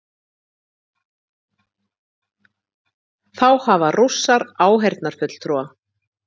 Þá hafa Rússar áheyrnarfulltrúa